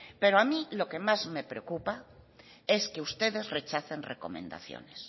pero a mí lo que más me preocupa es que ustedes rechacen recomendaciones